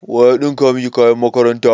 Wa ya ɗinka maki kayan makaranta?